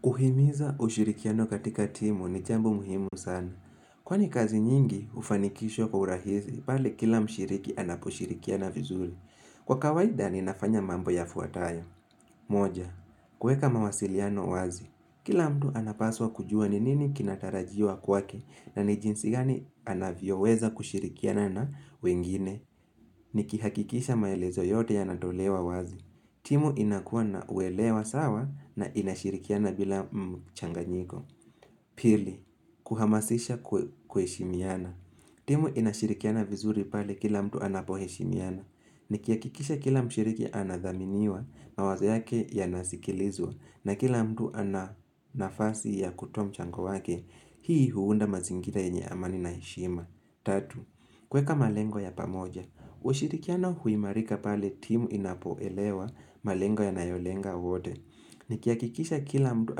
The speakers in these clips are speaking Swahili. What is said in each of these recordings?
Kuhimiza ushirikiano katika timu ni jambo muhimu sana. Kwani kazi nyingi hufanikishwo kwa urahizi pande kila mshiriki anaposhirikiana vizuri. Kwa kawaida ninafanya mambo yafuatayo. Moja, kuweka mawasiliano wazi. Kila mtu anapaswa kujua ni nini kinatarajiwa kwake na ni jinsi gani anavyoweza kushirikiana na wengine. Nikihakikisha maelezo yote yanatolewa wazi. Timu inakua na uelewa sawa na inashirikiana bila mchanganyiko Pili, kuhamasisha kuheshimiana timu inashirikiana vizuri pale kila mtu anapoheshimiana Nikihakikisha kila mshiriki anadhaminiwa mawazo yake ya nasikilizwa na kila mtu ana nafasi ya kutoa mchango wake Hii huunda mazingira yenye amani na heshima Tatu, kuweka malengo ya pamoja ushirikiano huimarika pale timu inapoelewa malengo yanayolenga wote Nikihakikisha kila mtu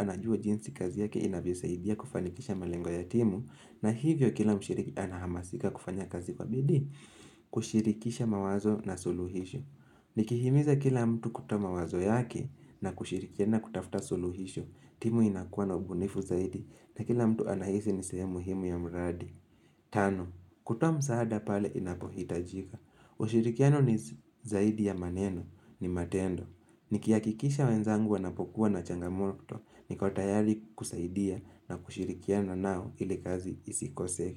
anajua jinsi kazi yake inavyosaidia kufanikisha malengo ya timu na hivyo kila mshiriki anahamasika kufanya kazi kwa bidii kushirikisha mawazo na suluhisho Nikihimiza kila mtu kutoa mawazo yake na kushirikiana kutafuta suluhisho timu inakuwa na ubunifu zaidi na kila mtu anahizi ni sehemu muhimu ya mradi Tano, kutoa msaada pale inapo hitajika ushirikiano ni zaidi ya maneno ni matendo Nikihakikisha wenzangu wanapokuwa na changamoto niko tayari kusaidia na kushirikiana nao ili kazi isikose.